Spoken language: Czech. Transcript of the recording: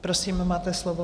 Prosím, máte slovo.